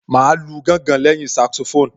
Màá lu gángan lẹ́yìn Saxophone